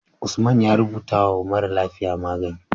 Usman ya rubata wa mara lafiya magani